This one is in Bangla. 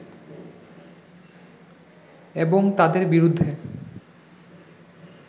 এবং তাদের বিরুদ্ধে